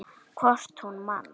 Hvort hún man!